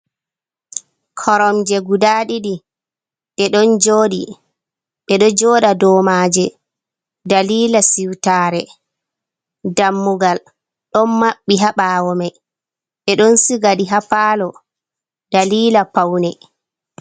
Koromje guda ɗiɗi ɗeɗon joɗi ɓedo joɗa dou maje, dalila siwtare dammugal ɗon mabbi ha bawo mai ɓe ɗon sigaɗi ha palo dalila paune.